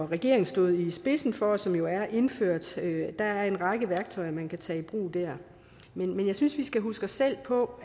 regeringen stod i spidsen for og som jo er indført der er en række værktøjer man kan tage i brug der men jeg synes vi skal huske os selv på